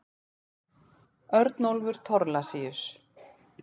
Örnólfur Thorlacius.